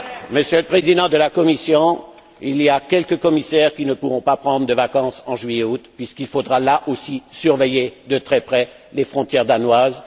Monsieur le Président de la Commission, il y a quelques commissaires qui ne pourront pas prendre de vacances en juillet et en août, puisqu'il faudra, là aussi, surveiller de très près les frontières danoises.